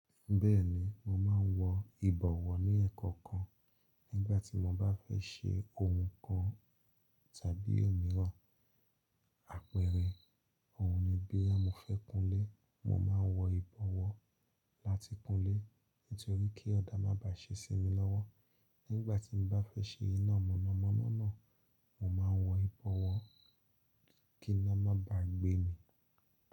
Bẹ́ẹ̀ni, mo máa ń wọ ìbọ̀wọ́ ní ẹ̀ẹ̀kọ̀kan nígbà tí mo bá fẹ́ ṣe ohun kan tàbí òmíràn. Àpẹẹrẹ, òun ni bí à mọ́ fẹ́ kùnlé, mo máa ń wọ ìbọ̀wọ́ láti kúnlé nítorí kí ọ̀dà má bá ṣe sí mi lọ́wọ́. Nígbà tí mo bá fẹ́ ṣe iná mọ̀nàmọ́ná náà, mo máa ń wọ ìbọ̀wọ́ kí iná má bá gbé mi.